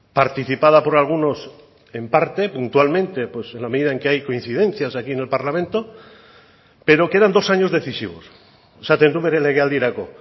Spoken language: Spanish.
participada por algunos en parte puntualmente en la medida en que hay coincidencias aquí en el parlamento pero quedan dos años decisivos esaten du bere legealdirako